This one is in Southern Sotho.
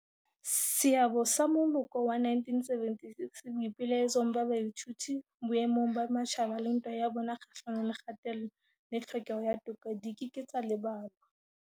Seabo sa moloko wa 1976 boipelaetsong ba baithuti boemong ba matjhaba le ntwa ya bona kgahlano le kgatello le tlhokeho ya toka di ke ke tsa lebalwa.